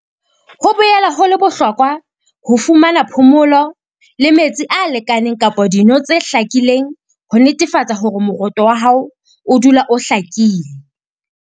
Ho boela ho le bohlokwa ho fumana phomolo le metsi a lekaneng kapa dino tse hlakileng ho netefatsa hore moroto wa hao o dula o hlakile.